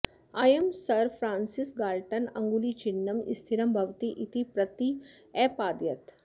अयं Sir Francis Galton अङ्गुलीचिह्नं स्थिरं भवति इति प्रत्यपादयत्